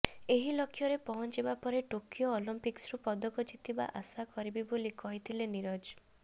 ଏହି ଲକ୍ଷ୍ୟରେ ପହଞ୍ଚିବା ପରେ ଟୋକିଓ ଅଲିମ୍ପିକ୍ସରୁ ପଦକ ଜିତିବା ଆଶା କରିବି ବୋଲି କହିଥିଲେ ନୀରଜ